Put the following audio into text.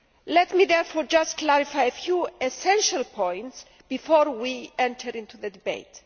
Let me therefore just clarify a few essential points before we enter into the debate.